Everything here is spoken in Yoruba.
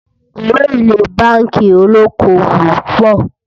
owó élè bánkì olókó owó pò